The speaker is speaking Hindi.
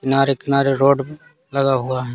किनारे किनारे रोड लगा हुआ है।